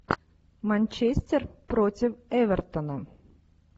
манчестер против эвертона